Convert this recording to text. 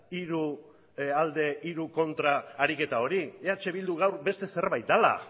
hiru alde hiru kontra ariketa hori eh bildu gaur beste zerbait dela